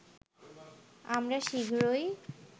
আমরা শীঘ্রই